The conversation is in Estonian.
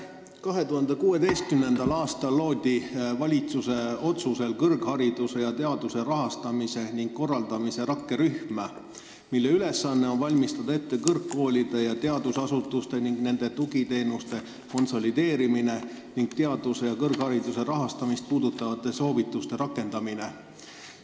2016. aastal loodi valitsuse otsusel kõrghariduse ja teaduse rahastamise ning korraldamise rakkerühm, kelle ülesanne on valmistada ette kõrgkoolide ja teadusasutuste ning nende tugiteenuste konsolideerimine ning teaduse ja kõrghariduse rahastamist puudutavate soovituste rakendamine.